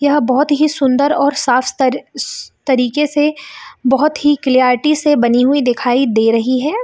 यह बहोत ही सुन्दर और सास्तर इस तरीके से बहोत ही क्लैरिटी से बनी हुई दिखाई दे रही हैं ।